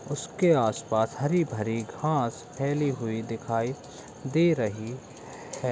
उसके आस पास हरी भरी घास फैली हुई दिखाई दे रही है।